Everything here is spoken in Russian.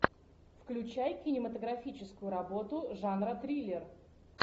включай кинематографическую работу жанра триллер